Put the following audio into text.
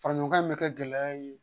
Fara ɲɔgɔn bɛ kɛ gɛlɛya ye